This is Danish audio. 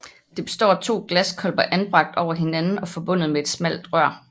Det består af to glaskolber anbragt over hinanden og forbundet med et smalt rør